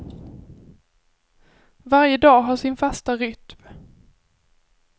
Varje dag har sin fasta rytm.